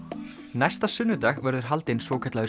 næsta sunnudag verður haldinn svokallaður